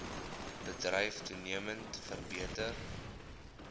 bedryf toenemend vermeerder